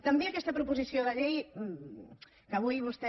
també aquesta proposició de llei que avui vostè